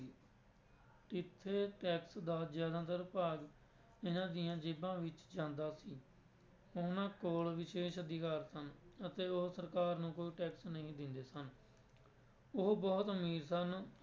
ਕਿੱਥੇ tax ਦਾ ਜ਼ਿਆਦਤਰ ਭਾਗ ਇਹਨਾਂ ਦੀਆਂ ਜੇਬਾਂ ਵਿੱਚ ਜਾਂਦਾ ਸੀ, ਉਹਨਾਂ ਕੋਲ ਵਿਸ਼ੇਸ਼ ਅਧਿਕਾਰ ਸਨ ਅਤੇ ਉਹ ਸਰਕਾਰ ਨੂੰ ਕੋਈ tax ਨਹੀਂ ਦਿੰਦੇ ਸਨ ਉਹ ਬਹੁਤ ਅਮੀਰ ਸਨ,